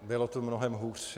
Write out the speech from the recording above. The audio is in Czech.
Bylo tu mnohem hůř.